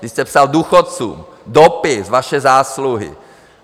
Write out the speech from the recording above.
Vy jste psal důchodcům dopis - vaše zásluhy.